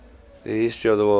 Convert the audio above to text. the history of the word